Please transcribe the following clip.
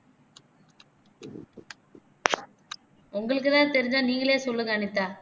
உங்களுக்குதான் தெரிஞ்சா நீங்களே சொல்லுங்க அனிதா